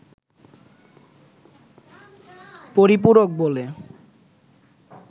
পরিপূরক বলে